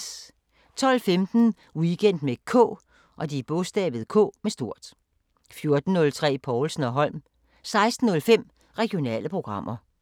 12:15: Weekend med K 14:03: Povlsen & Holm 16:05: Regionale programmer